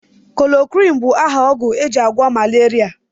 Chloroquin bụ aha ogwụ ejị agwo malaria.